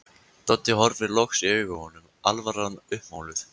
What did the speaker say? Doddi horfir loks í augu honum, alvaran uppmáluð.